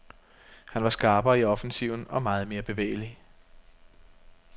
Han var skarpere i offensiven og meget mere bevægelig.